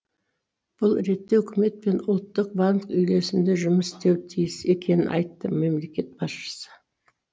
бұл ретте үкімет пен ұлттық банк үйлесімді жұмыс істеуі тиіс екенін айтты мемлекет басшысы